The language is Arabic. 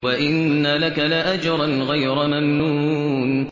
وَإِنَّ لَكَ لَأَجْرًا غَيْرَ مَمْنُونٍ